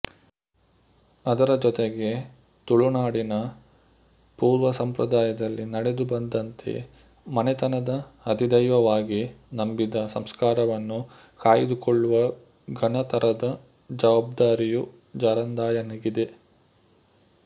ಅದರ ಜೊತೆಗೆ ತುಳುನಾಡಿನ ಪೂರ್ವ ಸಂಪ್ರದಾಯದಲ್ಲಿ ನಡೆದು ಬಂದಂತೆ ಮನೆತನದ ಅಧಿದೈವವಾಗಿ ನಂಬಿದ ಸಂಸ್ಕಾರವನ್ನು ಕಾಯ್ದುಕೊಳ್ಳುವ ಘನತರದ ಜವಾಬ್ದಾರಿಯು ಜಾರಂದಾಯನಿಗಿದೆ